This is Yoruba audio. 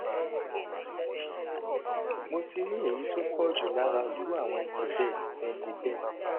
mo ti rí èyí tó pọ jùlọ lára irú àwọn ẹni bẹẹ ẹni bẹẹ